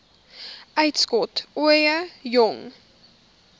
uitskot ooie jong